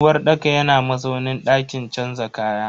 uwarɗaka yana mazaunin dakin canza kaya.